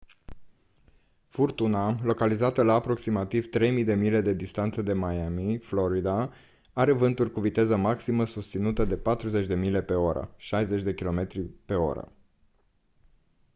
furtuna localizată la aproximativ 3 000 de mile distanță de miami florida are vânturi cu viteză maximă susținută de 40 mph 64 kph